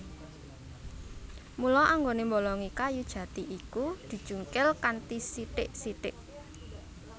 Mula anggonè mbolongi kayu jati iku dicungkil kanthi sithik sithik